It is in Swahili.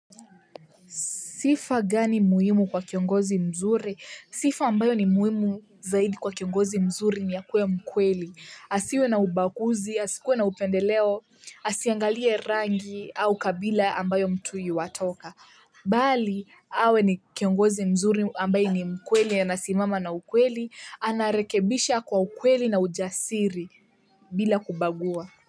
Sifa gani muhimu kwa kiongozi mzuri? Sifa ambayo ni muhimu zaidi kwa kiongozi mzuri ni ya kuwe mkweli. Asiwe na ubaguzi, asikuwe na upendeleo, asiangalie rangi au kabila ambayo mtu yu watoka. Bali, awe ni kiongozi mzuri ambayo ni mkweli yanasimama na ukweli, anarekebisha kwa ukweli na ujasiri bila kubagua.